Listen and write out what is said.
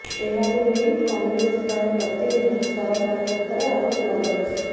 ଏହାକୁ ନେଇ କଂଗ୍ରେସ ପ୍ରାୟ ପ୍ରତିଦିନ ସରକାରଙ୍କ ଉପରେ ଆରୋପ ଲଗାଉଛି